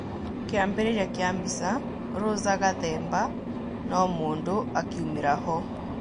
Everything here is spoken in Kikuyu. Kĩambĩrĩria kĩa mbica, Rosa Gathemba no-mũndũ akiumira-ho.